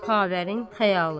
Xavərin xəyalı.